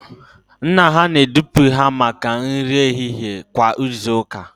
Nna ha na-edupụ ha maka nri ehihie kwa izu ụka